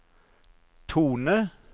tone